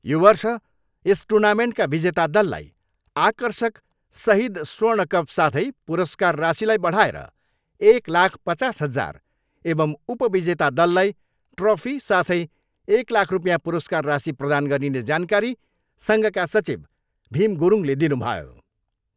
यो वर्ष यस टुर्नामेन्टका विजेता दललाई आकर्षक सहिद स्वर्ण कप साथै पुरस्कार राशिलाई बढाएर एक लाख पचास हजार एवं उपविजेता दललाई ट्रफी साथै एक लाख रुपियाँ पुरस्कार राशि प्रदान गरिने जानकारी सङ्घका सचिव भिम गुरुङले दिनुभयो।